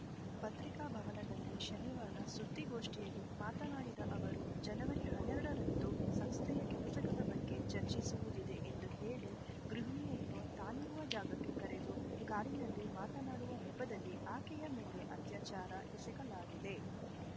ಪತ್ರಿಕಾಭವನದಲ್ಲಿ ಶನಿವಾರ ಸುದ್ದಿಗೋಷ್ಠಿಯಲ್ಲಿ ಮಾತನಾಡಿದ ಅವರು ಜನವರಿ ಹನ್ನೆರಡರಂದು ಸಂಸ್ಥೆಯ ಕೆಲಸಗಳ ಬಗ್ಗೆ ಚರ್ಚಿಸುವುದಿದೆ ಎಂದು ಹೇಳಿ ಗೃಹಿಣಿಯನ್ನು ತಾನಿರುವ ಜಾಗಕ್ಕೆ ಕರೆದು ಕಾರಿನಲ್ಲಿ ಮಾತನಾಡುವ ನೆಪದಲ್ಲಿ ಆಕೆಯ ಮೇಲೆ ಅತ್ಯಾಚಾರ ಎಸಗಲಾಗಿದೆ